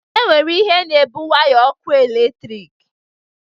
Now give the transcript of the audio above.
E nwere ihe na-ebu waya na ọkụ eletrik.